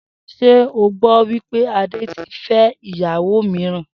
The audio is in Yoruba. S̩e o gbó̩ wí pé Ade ti fé̩ ìyàwó mìíràn?